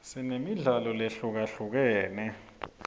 sinemidlalo lehlukahlukene